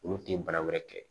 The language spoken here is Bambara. Olu tɛ baara wɛrɛ kɛ